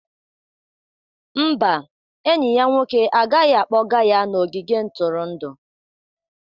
Mba, enyi ya nwoke agaghị akpọga ya n'ogige ntụrụndụ